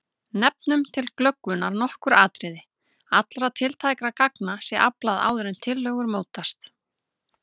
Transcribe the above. Nefnum til glöggvunar nokkur atriði: Allra tiltækra gagna sé aflað áður en tillögur mótast.